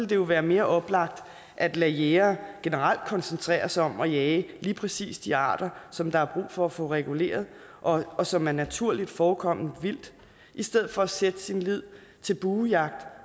det jo være mere oplagt at lade jægere generelt koncentrere sig om at jage lige præcis de arter som der er brug for at få reguleret og og som er naturligt forekommende vildt i stedet for at sætte sin lid til buejagt